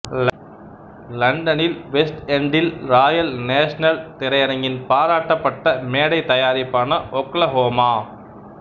லண்டனில் வெஸ்ட் எண்டில் royal national திரையரங்கின் பாராட்டப்பட்ட மேடைத் தயாரிப்பான ஓக்லஹோமா